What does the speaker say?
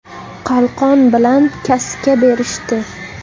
Qalqon bilan kaska berishdi.